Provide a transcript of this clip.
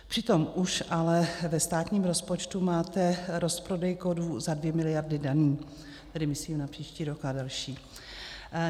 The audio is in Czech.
Přitom už ale ve státním rozpočtu máte rozprodej kovů za 2 miliardy daný, tedy myslím na příští rok a další.